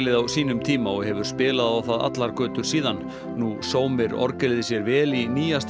á sínum tíma og hefur spilað á það allar götur síðan nú sómir orgelið sér vel í nýjasta